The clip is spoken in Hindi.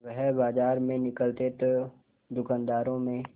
वह बाजार में निकलते तो दूकानदारों में